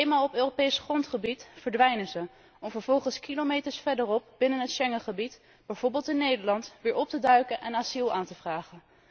Eenmaal op Europees grondgebied verdwijnen ze, om vervolgens kilometers verderop binnen het Schengengebied, bijvoorbeeld in Nederland, weer op te duiken en asiel aan te vragen.